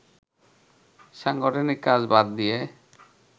সাংগঠনিক কাজ বাদ দিয়ে